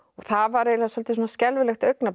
það var eiginlega svolítið skelfilegt augnablik